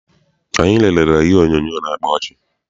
Anyị lerere ihe onyoonyo na-akpa ọchị.